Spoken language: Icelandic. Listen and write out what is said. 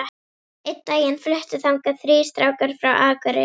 Einn daginn fluttu þangað þrír strákar frá Akureyri.